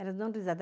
Elas não